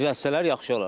Düzəltsələr yaxşı olar.